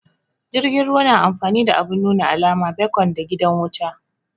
Jirgin ruwa na amfani da abun nuna alama, becon da gidan wuta